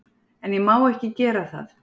En ég má ekki gera það.